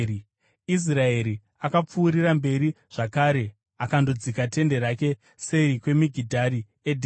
Israeri akapfuurira mberi zvakare akandodzika tende rake seri kweMigidhari Edheri.